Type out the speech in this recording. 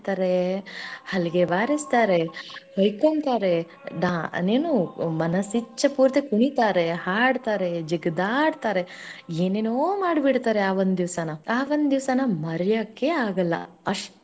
ಮಾಡ್ತಾರೆ ಹಲಗೆ ಬಾರಸ್ತಾರೆ ಹೋಯ್ಕೊಂತಾರೆ ಇನ್ನೇನು ಮನಸ ಇಚ್ಛೆ ಪೂರ್ತಿ ಕುಣಿತಾರೆ ಹಾಡ್ತಾರೆ ಜೀಗದ ಆಡ್ತಾರೆ ಏನೇನೋ ಮಾಡ್ಬಿಡ್ತಾರೆ ಆ ಒಂದ ದೀವಸ ಆ ಒಂದ ದಿವಸನ ಮರೆಯೋಕೆ ಆಗಲ್ಲ.